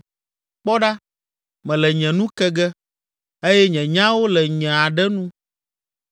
Kpɔ ɖa, mele nye nu ke ge eye nye nyawo le nye aɖe nu.